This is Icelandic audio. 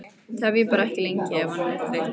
Tefjið bara ekki lengi ef hann er þreyttur